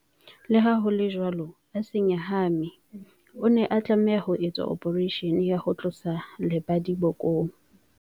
Leha ho le jwalo, a se nyahame. O ne a tlameha ho etswa ophareishene ya ho tlosa lebadi bokong.